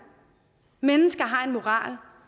mennesker har en moral